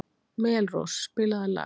Melrós, spilaðu lag.